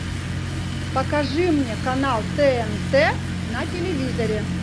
покажи мне канал тнт на телевизоре